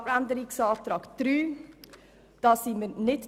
Die Planungserklärung 3 unterstützen wir nicht.